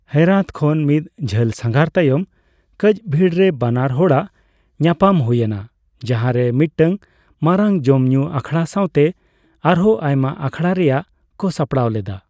ᱦᱮᱨᱟᱛ ᱠᱷᱚᱱ ᱢᱤᱫ ᱡᱷᱟᱹᱞ ᱥᱟᱸᱜᱷᱟᱨ ᱛᱟᱭᱚᱢ ᱠᱟᱡᱵᱷᱤᱱᱨᱮ ᱵᱟᱱᱟᱨ ᱦᱚᱲᱟᱜ ᱧᱟᱯᱟᱢ ᱦᱩᱭᱮᱱᱟ, ᱡᱟᱸᱦᱟᱨᱮ ᱢᱤᱫᱴᱟᱝ ᱢᱟᱨᱟᱝ ᱡᱚᱢᱼᱧᱩ ᱟᱠᱷᱲᱟ ᱥᱟᱣᱛᱮ ᱟᱨᱦᱚᱸ ᱟᱭᱢᱟ ᱟᱠᱷᱲᱟ ᱨᱮᱭᱟᱜ ᱠᱚ ᱥᱟᱯᱲᱟᱣ ᱞᱮᱫᱟ ᱾